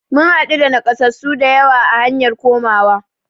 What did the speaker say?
Mun haɗu da nakasassu dayawa a hanyar komawa